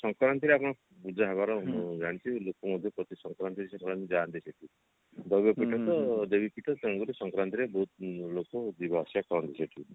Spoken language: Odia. ସଂକ୍ରାନ୍ତି ରେ ଆପଣ ଲୋକ ମଧ୍ୟ ପ୍ରତି ସଂକ୍ରାନ୍ତି ରେ ସେଟାକୁ ଯାନ୍ତି ଦୈବ ପୀଠ ତ ଦେବୀ ପୀଠ ତେଣୁକରି ସଂକ୍ରାନ୍ତି ରେ ବହୁତ ଲୋକ ଯିବା ଆସିବା କରନ୍ତି ସେଠିକି